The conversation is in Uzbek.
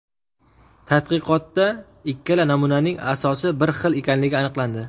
Tadqiqotda ikkala namunaning asosi bir xil ekanligi aniqlandi.